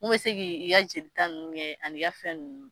Mun bɛ se k'i i ka jelita ninnu kɛ ani ka fɛn ninnu